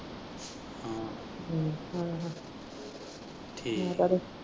ਠੀਕ .